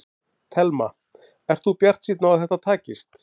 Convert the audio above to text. Telma: Ert þú bjartsýnn á að þetta takist?